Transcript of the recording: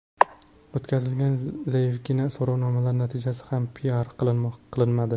O‘tkazilgan zaifgina so‘rovnomalar natijalari ham piar qilinmadi.